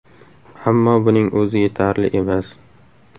Ammo buning o‘zi yetarli emas.